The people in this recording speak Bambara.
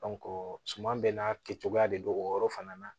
suman bɛɛ n'a kɛ cogoya de don o yɔrɔ fana na